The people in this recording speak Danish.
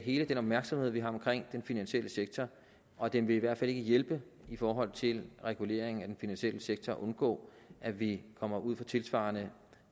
hele den opmærksomhed vi har om den finansielle sektor og det vil i hvert fald ikke hjælpe i forhold til reguleringen af den finansielle sektor og til at undgå at vi kommer ud for et tilsvarende